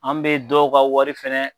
An bɛ dɔw ka wari fɛnɛ